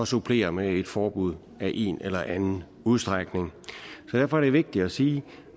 supplere med et forbud af en eller anden udstrækning derfor er det vigtigt at sige